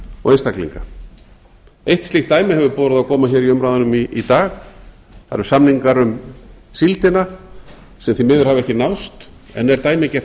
og einstaklinga eitt slíkt dæmi hefur borið á góma hér í umræðunum í dag það eru samningar um síldina sem því miður hafa ekki náðst en er dæmigert